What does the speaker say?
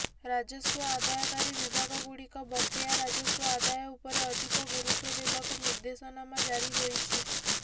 ରାଜସ୍ବ ଆଦାୟକାରୀ ବିଭାଗଗୁଡ଼ିକ ବକେୟା ରାଜସ୍ବ ଆଦାୟ ଉପରେ ଅଧିକ ଗୁରୁତ୍ବ ଦେବାକୁ ନିର୍ଦେଶନାମା ଜାରି ହୋଇଛି